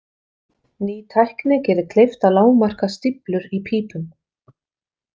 Ný tækni gerir kleift að lágmarka stíflur í pípum.